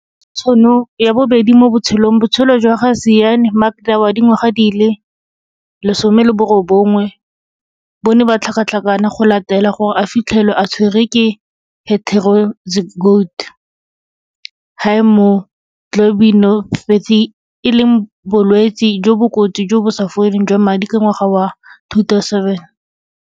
Go bona tšhono ya bobedi mo botshelong. Botshelo jwa ga Zyaan Makda wa dingwaga di le 19 bo ne ba tlhakatlhakana go latela gore a fitlhelwe a tshwerwe ke heterozygote haemoglobinopathy, e leng bolwetse jo bo kotsi jo bo sa foleng jwa madi ka ngwaga wa 2007.